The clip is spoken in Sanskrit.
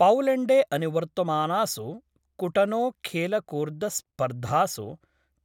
पौलेण्डे अनुवर्तमानासु कुटनो खेलकूर्दस्पर्धासु